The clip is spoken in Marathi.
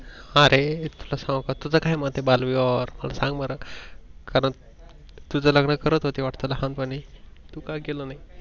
अरे मी तुला सांगूका तुझ काय मत आहे बालविवाह वर मला सांग बर खरंच तुझ लग्न करत होते वाटतं लहानपणी तू का केल नाही